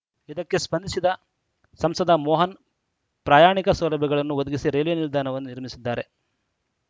ಇದಕ್ಕೆ ಸ್ಪಂದಿಸಿದ ಸಂಸದ ಮೋಹನ್‌ ಪ್ರಯಾಣಿಕ ಸೌಲಭ್ಯಗಳನ್ನು ಒದಗಿಸಿ ರೈಲ್ವೆ ನಿಲ್ದಾಣವನ್ನು ನಿರ್ಮಿಸಿದ್ದಾರೆ